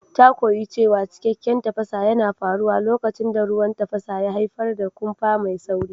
Ta koyi cewa cikakken tafasa yana faruwa lokacin da ruwan tafasa ya haifar da kumfa mai sauri.